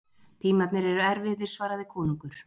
Tímarnir eru erfiðir, svaraði konungur.